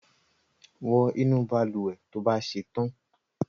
wọ inu balùwẹ̀ tó bà ṣetan!